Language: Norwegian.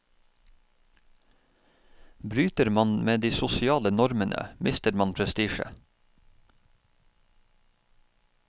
Bryter man med de sosiale normene, mister man prestisje.